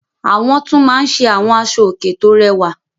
Àwọn tún máa ń ṣe àwọn aṣọòkè tó rẹwà.